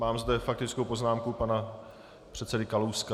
Mám zde faktickou poznámku pana předsedy Kalouska.